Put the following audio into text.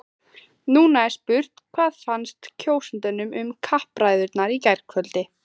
Nú er spurt, hvað fannst kjósendum um kappræðurnar í gærkvöld?